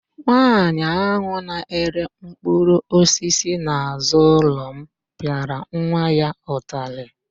Nwaanyị ahụ na-ere mkpụrụosisi n'azụ ụlọ m pịara nwa ya ụtalị.